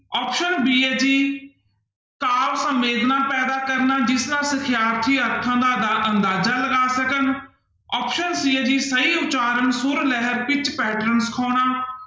Option b ਹੈ ਜੀ ਕਾਵਿ ਸੰਵੇਦਨਾ ਪੈਦਾ ਕਰਨਾ ਜਿਸ ਨਾਲ ਸਿਖਿਆਰਥੀ ਅਰਥਾਂ ਦਾ ਅੰਦਾਜਾ ਲਗਾ ਸਕਣ option c ਹੈ ਜੀ ਸਹੀ ਉਚਾਰਨ ਸੁਰ ਲਹਿਰ ਪਿੱਚ pattern ਸਿਖਾਉਣਾ।